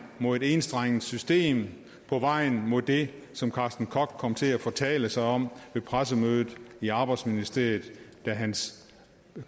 mod et enstrenget system på vejen mod det som karsten koch kom til at fortale sig om ved pressemødet i arbejdsministeriet da hans